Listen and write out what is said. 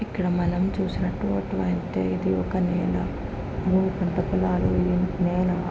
ఇది ఇక్కడ మనం చూసినట్టు వంట అయితే ఒక పంట పొల --